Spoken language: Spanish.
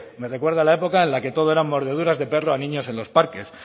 me recuerda la época en la que todo eran mordeduras de perro a niños en los parques